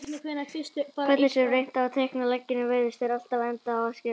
Hvernig sem reynt er að teikna leggina virðast þeir alltaf enda á að skerast.